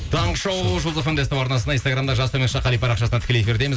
таңғы шоу жұлдыз фм де ств арнасында инстаграмда жас қали парақшасында тікелей эфирдеміз